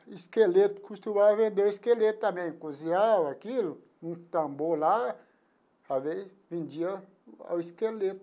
Esqueleto, costumava vender o esqueleto também, cozinhava aquilo, um tambor lá, as vezes, vendia o esqueleto.